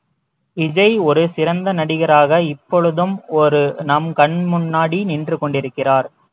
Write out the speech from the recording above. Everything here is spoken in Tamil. விஜய் ஒரு சிறந்த நடிகராக இப்பொழுதும் ஒரு நம் கண் முன்னாடி நின்று கொண்டிருக்கிறார்